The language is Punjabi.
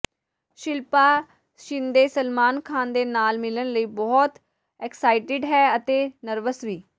ਸ਼ਿਲਪਾ ਸ਼ਿੰਦੇ ਸਲਮਾਨ ਖਾਨ ਦੇ ਨਾਲ ਮਿਲਣ ਲਈ ਬਹੁਤ ਐਕਸਾਈਟਿਡ ਹੈ ਅਤੇ ਨਰਵਸ ਵੀ